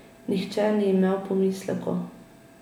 Nihče ni imel pomislekov.